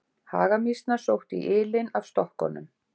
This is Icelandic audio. Hagamýsnar sóttu í ylinn af stokkunum.